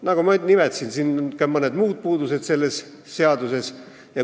Nagu ma nimetasin, selles seaduses olid ka mõned muud puudused.